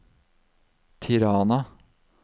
Tirana